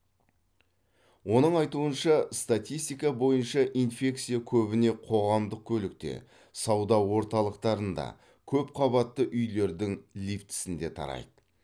оның айтуынша статистика бойынша инфекция көбіне қоғамдық көлікте сауда орталықтарында көпқабатты үйлердің лифтісінде тарайды